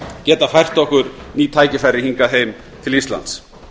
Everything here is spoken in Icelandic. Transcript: geta fært okkur ný tækifæri hingað heim til íslands